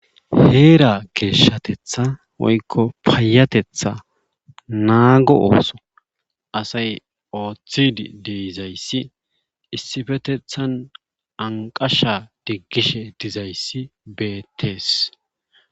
Heera geeshshatetha woykko payateththa naago ooso asay oothidi dizayssi issipetethan anqqasha digishe dizayssi beetees.